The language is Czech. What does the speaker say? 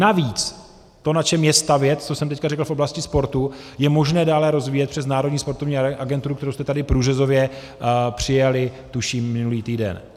Navíc to, na čem je stavět, co jsem teď řekl v oblasti sportu, je možné dále rozvíjet přes Národní sportovní agenturu, kterou jsme tady průřezově přijali tuším minulý týden.